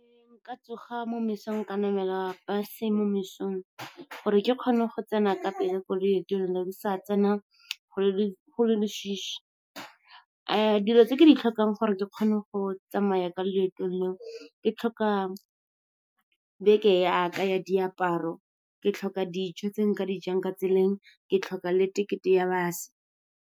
Nka tsoga mo mesong ka namela bus-e mo mesong gore ke kgone go tsena ka pele ko loeto la me ke sa tsena go leswiswi. Dilo tse ke di tlhokang gore ke kgone go tsamaya ka loeto leo, ke tlhoka beke ya ka ya diaparo, ke tlhoka dijo tse nka dijang ka tseleng, ke tlhoka le tekete ya bus-e.